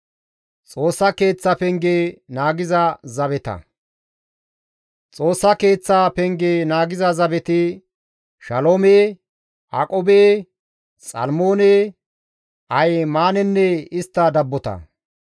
Xoossa Keeththa Penge naagiza zabeti Shaloome, Aqube, Xalmoone, Ahimaanenne istta dabbota; Shaloomey isttas halaqa.